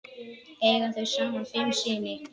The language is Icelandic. Eiga þau saman fimm syni.